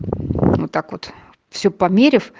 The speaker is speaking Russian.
вот так вот все померяв